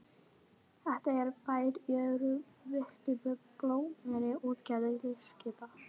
Þetta er bær í örum vexti með blómlegri útgerð þilskipa.